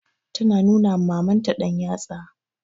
Tana nuna ma Mamanta ɗanyatsa.